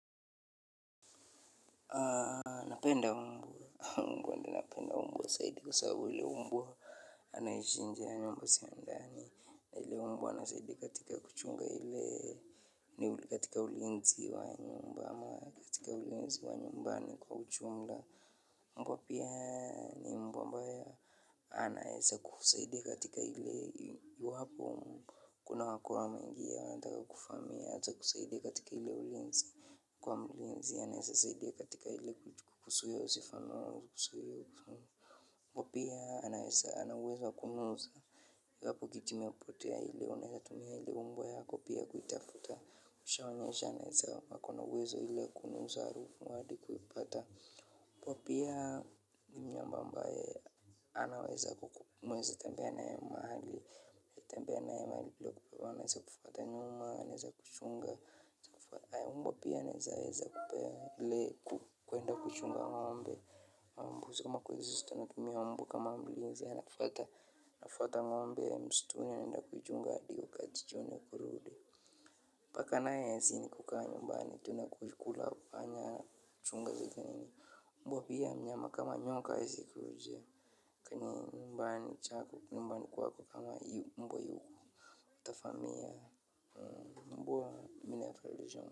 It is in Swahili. Napenda mbwa. Mbwa ndio napenda mbwa zaidi kwa sababu ule mbwa. Anaishi nje ya nyumba sio ndani. Ile mbwa anasaidia katika kuchunga ile. Ile katika ulinzi wa nyumba. Ama katika ulinzi wa nyumbani kwa ujumla. Mbwa pia ni mbwa mbaya. Anaeza kukusaidia katika ile. Iwapo kunao kuwa ameingia anataka kukufahamia. Atakusaidia katika ile ulinzi. Kuwa mlinzi anaweza saidia katika ile. Uwezo wa kunusa. Iwapo kitu imepotea ile unaweza tumia ile mbwa yako pia kuitafuta, ushaonyesha anaweza ako na uwezo ile ya kunusa harufu hadi kuipata hapo pia. Ni mnyama ambaye anaweza mnaweza tembea naye mahali. Tembea naye mahali, anaweza kufuata nyuma, anaeza kuchunga na mbwa pia anaeza eza kupea ile kuenda kuchunga ng'ombe, ama mbuzi ama kweza anatumia mbwa kama mlinzi anafuata ng'ombe mstuni anaenda kuichunga hadi wakati jioni wa kurudi. Paka naye kazi ni kukaa nyumbani tu na kukula panya, mbwa pia mnyama kama nyoka haezi kuja kwenye nyumbani kwako kama mbwa yuko. Atavamia, mbwa.